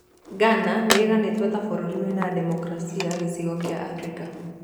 Ghana nĩ ĩganĩto ta burũri wĩna demokaraci gĩcigo gĩa Afrika